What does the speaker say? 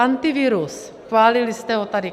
Antivirus - schválili jste ho tady.